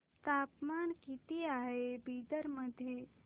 तापमान किती आहे बिदर मध्ये